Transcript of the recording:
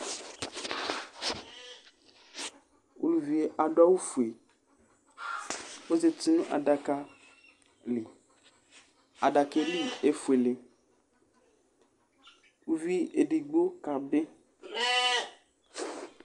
Uluviɛ adu awu fué ɔzɛti nu adaka li adakaɛ li éfuélé uvi édigbé ka bi